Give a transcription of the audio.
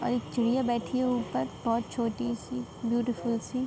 और एक चिडि़या बैठी है ऊपर बोहोत छोटी सी ब्यूटीफुल सी।